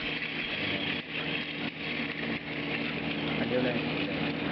ആഹ് അടിപൊളി ആയിരിക്കും അല്ലെ